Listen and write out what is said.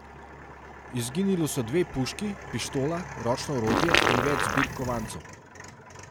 Izginili so dve puški, pištola, ročno orodje in več zbirk kovancev.